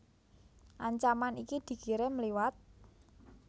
Ancaman iki dikirim liwat